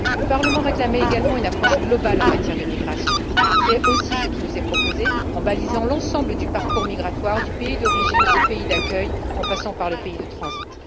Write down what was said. Le Parlement réclamait également une approche globale en matière de migrations, et c'est aussi ce qui nous est proposé le balisage de l'ensemble du parcours migratoire du pays d'origine au pays d'accueil, en passant par le pays de transit.